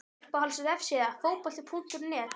Uppáhalds vefsíða? Fótbolti.net